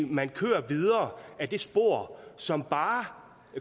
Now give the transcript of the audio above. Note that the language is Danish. man kører videre ad det spor som bare